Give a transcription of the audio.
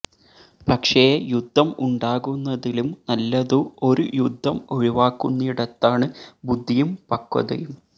പക്ഷേ യുദ്ധം ഉണ്ടാകുന്നതിലും നല്ലതു ഒരു യുദ്ധം ഒഴിവാക്കുന്നിടത്താണ് ബുദ്ധിയും പക്വതയും